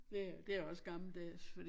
Det det er også gammeldags fordi